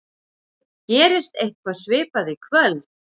Gerist eitthvað svipað í kvöld?